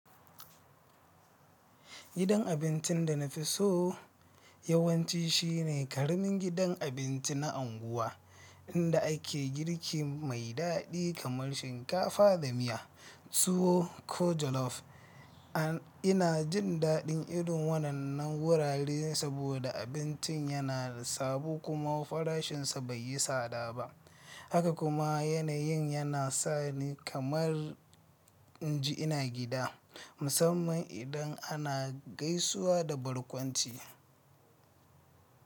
Gidan abincin da na fi so yawanci shine ƙaramin gidan abinci na unguwa inda ake girki mai daɗi kamar shinkafa da miya. Tuwo ko jalof. Ina jin daɗin irin wannan wurare saboda abincin yana da sabo kuma farashinsa bai yi tsada ba, haka kuma yanayin yana sa ni kamar in ji ina gida, musamman idan ana gaisuwa da barkwanci.